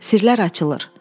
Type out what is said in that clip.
Sirlər açılır.